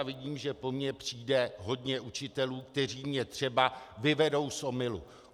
A vidím, že po mně přijde hodně učitelů, kteří mě třeba vyvedou z omylu.